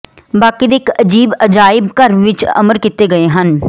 ਬਾਕੀ ਦੇ ਇਕ ਅਜੀਬ ਅਜਾਇਬ ਘਰ ਵਿਚ ਅਮਰ ਕੀਤੇ ਗਏ ਹਨ